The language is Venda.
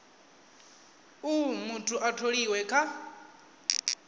uh muthu a tholiwe kha